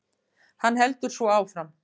Hann heldur svo áfram